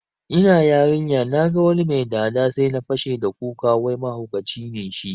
Ina yarinya naga wani mai dada sai na fashe da kuka wai mahaukaci ne shi